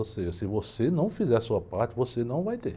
Ou seja, se você não fizer a sua parte, você não vai ter.